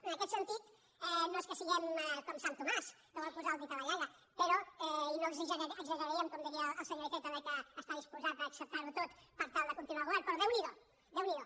en aquest sentit no és que siguem com sant tomàs que vol posar el dit a la llaga però i no exageraríem com diria el senyor iceta que està disposat a acceptarho tot per tal de continuar al govern però déu n’hi do déu n’hi do